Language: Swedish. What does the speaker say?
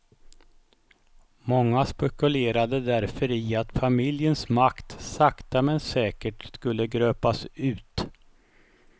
Många spekulerade därför i att familjens makt sakta med säkert skulle gröpas ut.